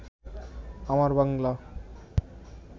আমার বাংলা